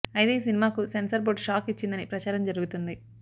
అయితే ఈ సినిమాకు సెన్సార్ బోర్డ్ షాక్ ఇచ్చిందని ప్రచారం జరుగుతుంది